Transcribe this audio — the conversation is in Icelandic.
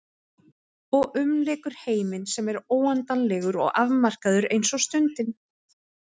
Og umlykur heiminn sem er óendanlegur og afmarkaður eins og stundin.